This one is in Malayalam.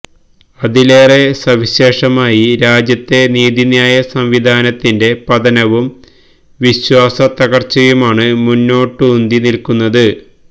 അതിലേറെ സവിശേഷമായി രാജ്യത്തെ നീതിന്യായ സംവിധാനത്തിന്റെ പതനവും വിശ്വാസ തകര്ച്ചയുമാണ് മുന്നോട്ടുന്തി നില്ക്കുന്നത്